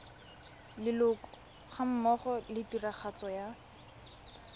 leloko gammogo le tiragatso ya